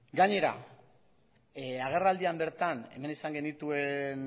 gainera agerraldian bertan hemen izan genituen